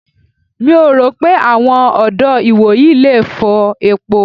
Mi ò rò pé àwọn ọ̀dọ́ ìwòyí le fọ epo.